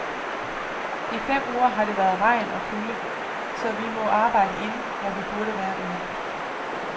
I fem uger har det været regn og kulde, så vi må arbejde inde, når vi burde være ude.